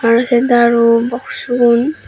aro se daru boxu gun.